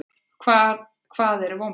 Hvað eru vonbrigði?